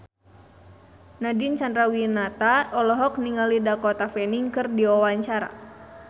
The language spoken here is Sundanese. Nadine Chandrawinata olohok ningali Dakota Fanning keur diwawancara